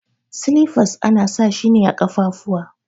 Silifas ana sa shi ne a kafafuwa.